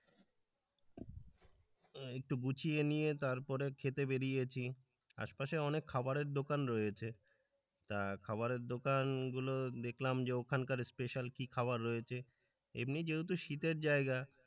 একটু গুছিয়ে নিয়ে তারপরে খেতে বেরিয়েছি আশপাশে অনেক খাবারের দোকান রয়েছে তা খাবারের দোকান গুলো দেখলাম যে ওখানকার স্পেশাল কি খাবার রয়েছে এমনি যেহেতু শীতের জায়গা,